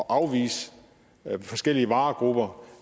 afvise forskellige varegrupper